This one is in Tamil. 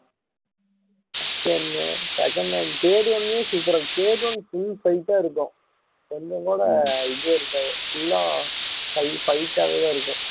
first one second one third one லையும் super ஆ இருக்கும் third one full fight ஆ இருக்கும் கொஞ்சம் கூட இதே இருக்காது full ஆ fight டாவே தான் இருக்கும்